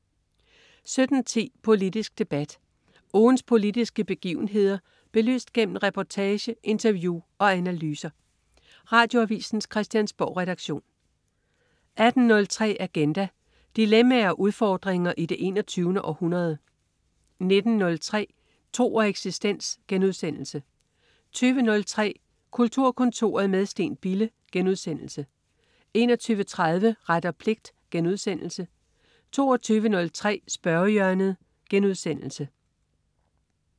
17.10 Politisk debat. Ugens politiske begivenheder belyst gennem reportage, interview og analyser. Radioavisens Christiansborgredaktion 18.03 Agenda. Dilemmaer og udfordringer i det 21. århundrede 19.03 Tro og eksistens* 20.03 Kulturkontoret med Steen Bille* 21.30 Ret og pligt* 22.03 Spørgehjørnet*